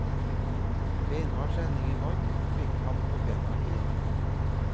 Beinhard trening i vann fikk ham på bena igjen.